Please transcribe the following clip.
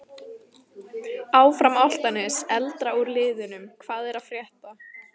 Áfram Álftanes.Eldra úr liðnum Hvað er að frétta?